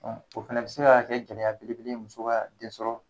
O fɛnɛ bi se ka kɛ gɛlɛya belebele muso ka den sɔrɔ